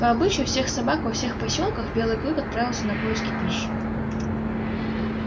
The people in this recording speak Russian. по обычаю всех собак во всех посёлках белый клык отправился на поиски пищи